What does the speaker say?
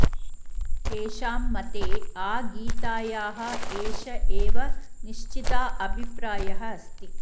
तेषां मते आ गीतायाः एष एव निश्चिताभिप्रायः अस्ति